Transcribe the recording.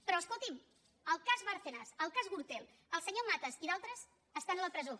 però escolti’m el cas bárcenas el cas gürtel el senyor matas i d’altres estan a la presó